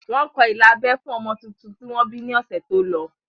Wọ́n kọ ilà abẹ́ fún ọmọ tuntun tí wọ́n bí ní ọ̀sẹ̀ tó lọ